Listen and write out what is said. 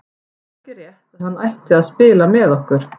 Það er ekki rétt að hann ætti að spila með okkur.